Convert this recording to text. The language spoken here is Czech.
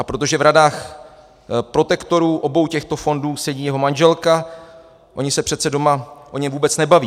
A protože v radách protektorů obou těchto fondů sedí jeho manželka - oni se přece doma o něm vůbec nebaví.